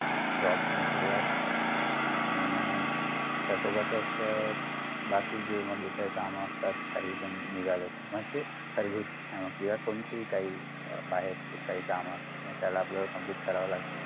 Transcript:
job पण सुरु हाय आणि त्यासोबतच बाकीचे जे इथे काम असतात काही पण निघाले तर म्हणजे घरगुती किंवा कोणतीही काहि बाहेरची काही काम असतात त्याला आपलं complete करावं लागतं